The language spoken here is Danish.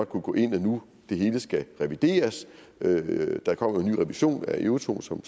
når nu det hele skal revideres der kommer en ny revision af euratom som